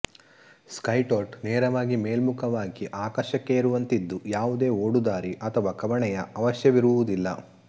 ಸ್ಕೈಟೋಟ್ ನೇರವಾಗಿ ಮೇಲ್ಮುಖವಾಗಿ ಆಕಾಶಕ್ಕೇರುವಂತಿದ್ದು ಯಾವುದೇ ಓಡುದಾರಿ ಅಥವಾ ಕವಣೆಯ ಅವಶ್ಯವಿರುವುದಿಲ್ಲ